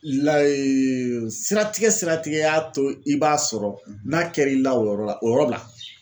siratigɛ siratigɛ y'a to i b'a sɔrɔ n'a kɛr'i la o yɔrɔ la o yɔrɔ bila.